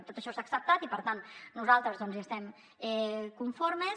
tot això s’ha acceptat i per tant nosaltres hi estem conformes